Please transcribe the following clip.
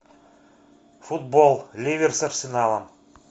футбол ливер с арсеналом